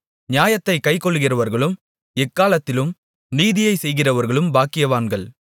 நியாயத்தைக் கைக்கொள்ளுகிறவர்களும் எக்காலத்திலும் நீதியைச் செய்கிறவர்களும் பாக்கியவான்கள்